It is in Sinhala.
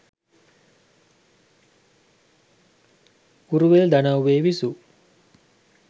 උරුවෙල් දනව්වේ විසූ